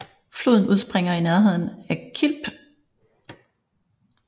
Floden udspringer i nærheden af Kilb